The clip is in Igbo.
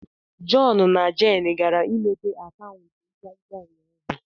John na Jane gara imepe akaụntụ nkwonkwo ụnyahụ.